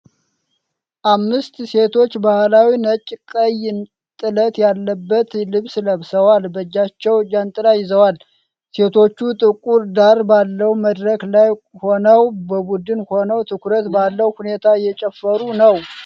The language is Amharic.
አምስት ሴቶች ባህላዊ ነጭ ቀይ ጥለት ያለበት ልብስ ለብሰው በእጃቸው ጃንጥላ ይዘዋል። ሴቶቹ ጥቁር ዳራ ባለው መድረክ ላይ ሆነው በቡድን ሆነው ትኩረት ባለው ሁኔታ እየጨፈሩ ነው።